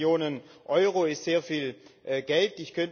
500 Millionen Euro ist sehr viel Geld.